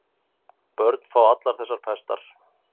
Börn fá allar þessar pestar.